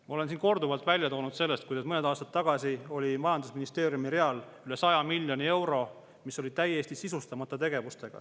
Ma olen siin korduvalt välja toonud, et mõned aastad tagasi oli majandusministeeriumi real üle 100 miljoni euro, mis oli tegevustega täiesti sisustamata.